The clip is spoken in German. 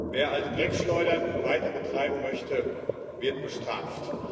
Wer alte Dreckschleudern weiterbetreiben möchte, wird bestraft.